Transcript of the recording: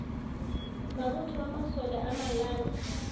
mabotho a masole a malala